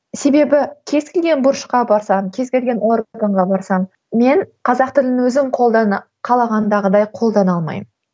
себебі кез келген бұрышқа барсам кез келген органға барсам мен қазақ тілін өзім қолдана қалағандағыдай қолдана алмаймын